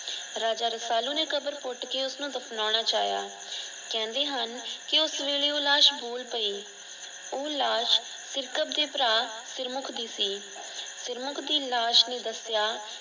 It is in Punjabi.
ਰਾਜਾ ਰਸਾਲੂ ਨੇ ਕਬਰ ਪੁੱਟ ਕੇ ਉਸਨੂੰ ਦਫਨਾਉਣਾ ਚਾਇਆ। ਕਹਿੰਦੇ ਹਨ ਕਿ ਉਸ ਵੇਲੇ ਉਹ ਲਾਸ਼ ਬੋਲ ਪਈ ਉਹ ਲਾਸ਼ ਸਿਰਕਤ ਦੇ ਭਰਾ ਸਿਰਮੁਖ ਦੀ ਸੀ। ਸਿਰਮੁੱਖ ਦੀ ਲਾਸ਼ ਨੇ ਦੱਸਿਆ।